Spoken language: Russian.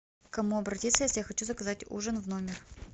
к кому обратиться если я хочу заказать ужин в номер